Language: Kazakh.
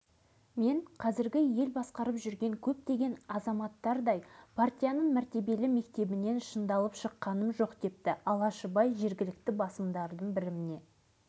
тек осынау игі істің бастауында біздің қарапайым кейіпкеріміз алашыбай тұрды десек екінің бірі сене қояр ма екен сенбесе